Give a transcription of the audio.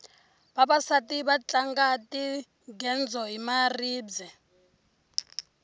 vavasati va tlanga tingedzo hi maribye